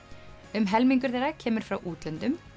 um helmingur þeirra kemur frá útlöndum